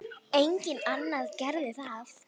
Enginn annar gerir það.